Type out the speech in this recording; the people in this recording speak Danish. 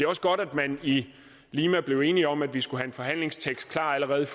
også godt at man i lima blev enige om at vi skulle have en forhandlingstekst klar allerede